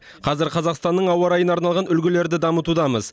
қазір қазақстанның ауа райына арналған үлгілерді дамытудамыз